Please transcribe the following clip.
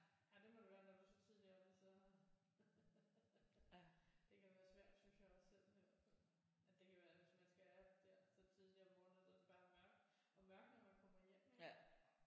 Ja det må det være når du er så tidligt oppe så det kan være svært synes jeg også selv i hvert fald at det kan være hvis man skal op der så tidligt om morgenen og bare er mørkt og mørkt når man kommer hjem ik?